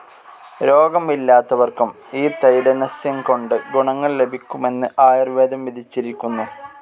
രോഗം ഇല്ലാത്തവർക്കും ഈ തൈലനസ്യംകൊണ്ട് ഗുണങ്ങൾ ലഭിക്കുമെന്ന് ആയുർവേദം വിധിച്ചിരിക്കുന്നു.